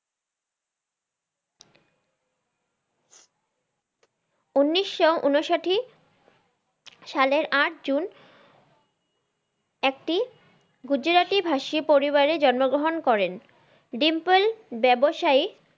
উনিশশো উনসাটি সালের আট জুন একটি গুজরাটি ভাষী পরিবারে জন্মগ্রহন করেন ডিম্পল ব্যবসায়ী